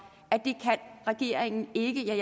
at regeringen ikke kan